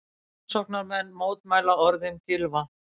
Framsóknarmenn mótmæla orðum Gylfa